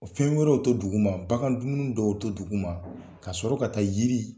O fɛn wɛrɛw to duguma, bagan dumuni dɔw to duguma ka sɔrɔ ka taa yiri